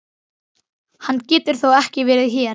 Hann getur þó ekki verið hér!